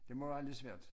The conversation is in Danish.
Det må være lidt svært